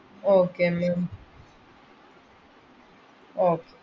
Okay ma'am okay